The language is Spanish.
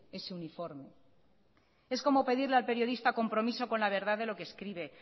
ese uniforme es como pedirle al periodista compromiso con la verdad de lo que escribe